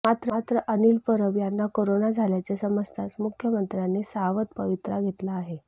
मात्र अनिल परब यांना कोरोना झाल्याचे समजताच मुख्यमंत्र्यांनी सावध पवित्रा घेतला आहे